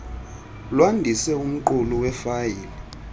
lwandise umqulu wefayile